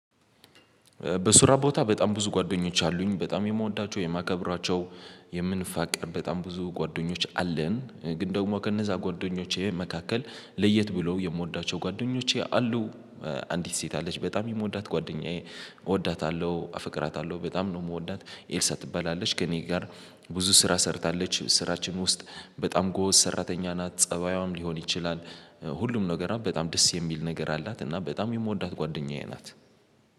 በስራ ቦታ በጣም ብዙ ጓደኞች አሉኝ በጣም የምወዳቸው የማከብራቸው የምንፋቀር በጣም ብዙ ጓደኞች አለን ግን ደግሞ ከነዛ ጓደኞቼ መካከል ለየት ብሎ የምወዳቸው ጓደኞቼ አሉ። አንዲት ሴት አለች በጣም የምወዳት ጓደኛዬ እወዳታለሁ አፍቅራታለሁ በጣም ነው የምወዳት። ኤልሳ ትበላለች ከእኔ ጋር ብዙ ስራ ሰርታለች ስራችን ውስጥ በጣም ጎወስ ሰራተኛ ናት ፀባዩም ሊሆን ይችላል። ሁሉም ነገሮ በጣም ደስ የሚል ነገር አላት እና በጣም የምወዳት ጓደኛዬ ናት።